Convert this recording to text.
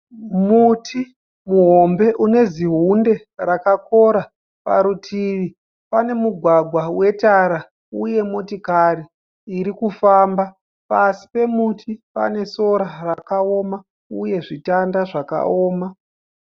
Muti muhombe une zihunde rakakora. Parutivi pane mugwagwa wetara uye motokari irikufamba. Pasi pemuti pane sora rakaoma uye zvitanda zvakaoma.